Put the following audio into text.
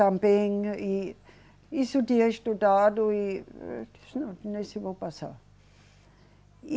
Também, e isso eu tinha estudado e disse, não, nesse eu vou passar.